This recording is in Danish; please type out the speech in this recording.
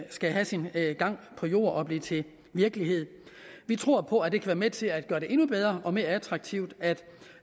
skal have sin gang på jord og blive til virkelighed vi tror på at det kan være med til at gøre det endnu bedre og mere attraktivt